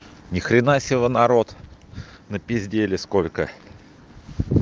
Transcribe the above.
ни хрена себе народ на пиздели сколько